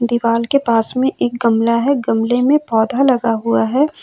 दीवाल के पास में एक गमला है गमले में पौधा लगा हुआ है।